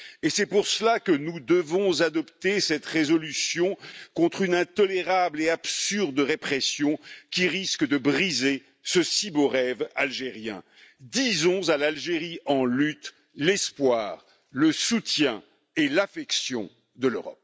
C'est pour cela que nous devons adopter cette résolution, contre une intolérable et absurde répression qui risque de briser ce si beau rêve algérien. Disons à l'Algérie en lutte, l'espoir, le soutien et l'affection de l'Europe.